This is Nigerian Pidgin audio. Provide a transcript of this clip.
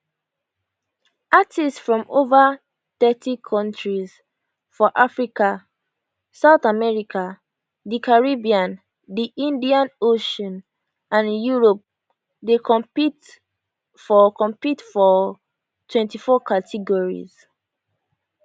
artistes from over thirty kontries for africa south america di caribbean di indian ocean and europe dey compete for compete for 24 categories